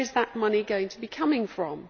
Where is that money going to come from?